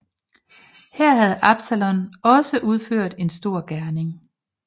Her havde Absalon også udført en stor gerning